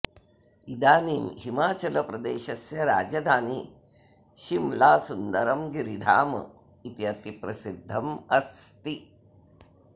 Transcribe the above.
इदानीं हिमाचलप्रदेशस्य राजधानी शिम्ला सुन्दरं गिरिधाम इति अतिप्रसिद्धम् अस्ति